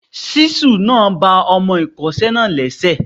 Ṣísù náà ba ọmọ ìkọ́ṣẹ́ náà lẹ́sẹ̀.